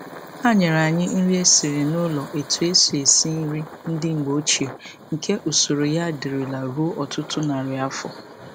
Ha nyere anyị nri e siri n'ụlọ etu e si esi nri ndị mgbe ochie nke usoro ya dirila ruo ọtụtụ narị afọ.